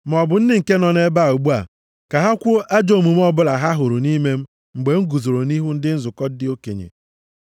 Maọbụ ndị nke nọ nʼebe a ugbu a, ka ha kwuo ajọ omume ọbụla ha hụrụ nʼime m mgbe m guzoro nʼihu ndị nzukọ ndị okenye.